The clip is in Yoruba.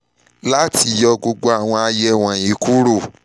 lati yọ gbogbo awọn aye wọnyi kuro ṣe mri ọpọlọ ati csf (awọn ti ọpọlọ ọpọlọ)